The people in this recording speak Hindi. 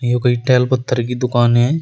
यह कोई टाइल पत्थर की दुकान है।